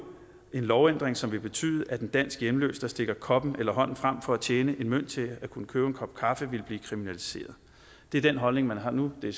en lovændring som ville betyde at en dansk hjemløs der stikker koppen eller hånden frem for at tjene en mønt til at kunne købe en kop kaffe ville blive kriminaliseret det er den holdning man har nu og det